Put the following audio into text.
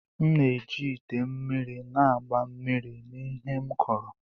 M na-eji ite mmiri na-agba mmiri na ihe m kuru.